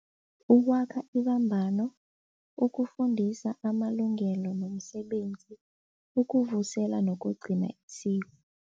Ukwakha ibambano, ukufundisa amalungelo nomsebenzi, ukuvusela nokugcina isiko.